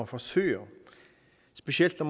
forsøger specielt når